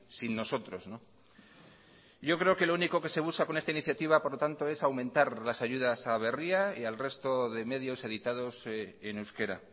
sin nosotros yo creo que lo único que se busca con esta iniciativa por lo tanto es aumentar las ayudas a berria y al resto de medios editados en euskera